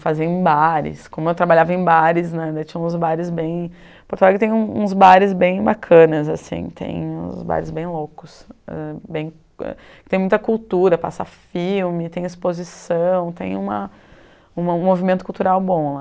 Fazer em bares, como eu trabalhava em bares né, ainda tinha uns bares bem... Porto Alegre tem uns bares bem bacanas, tem uns bares bem loucos ãh, bem tem muita cultura, passa filme, tem exposição, tem uma um um movimento cultural bom lá.